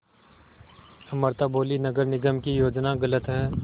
अमृता बोलीं नगर निगम की योजना गलत है